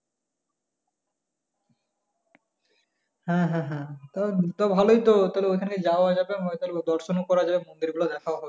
হ্যাঁ হ্যাঁ হ্যাঁ তা তাহলে ভালোই তো ওখানে যাওয়া যাবে দর্শন ও করা যাবে মন্দির গুলো দেখাও হবে।